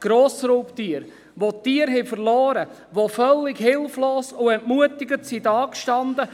Sie haben Tiere verloren und standen völlig hilflos und entmutigt da.